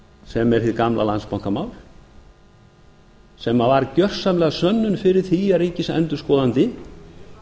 sem er hið gamla landsbankamál sem var gersamlega sönnun fyrir því að ríkisendurskoðandi